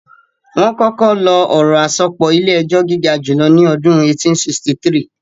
Wọ́n kọ́kọ́ lo ọ̀rọ̀ àsopọ̀ ilé-ẹjọ́ gígajùlọ ní ọdún 1863